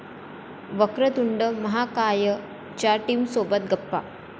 वक्रतुंड महाकाय'च्या टीमसोबत गप्पा